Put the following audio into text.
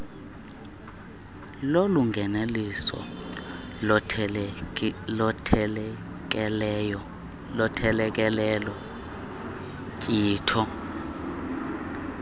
kolungelelwaniso lothelekelelo nkcitho